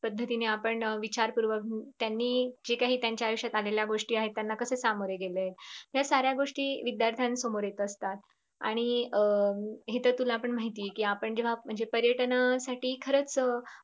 पद्धतीने आपण विचार पूर्वक त्यांनी जे काही त्यांच्या आयुष्यात आलेल्या गोष्टी आहेत त्यांना कस सामोरे गेलेत तर साऱ्या गोष्टी विध्यार्थ्यांना समोर येत असतात आणि अं इथे तुला पण माहित आहे कि आपण जेव्हा म्हणजे अं पर्यटनासाठी खरचं